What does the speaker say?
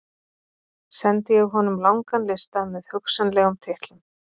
Sendi ég honum langan lista með hugsanlegum titlum.